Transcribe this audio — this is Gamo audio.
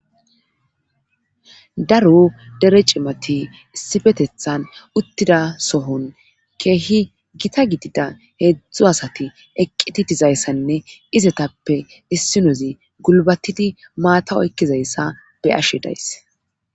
daro dere cimati issifetethan uttida sohon keehi gita gidida heedzdzu asati eqqidi dizayssanne izetappe issinozi gulbatidi maata oykkizayssa be'ashe days